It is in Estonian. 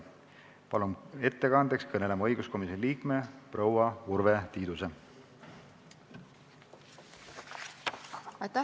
Palun ettekandeks kõnepulti õiguskomisjoni liikme proua Urve Tiiduse!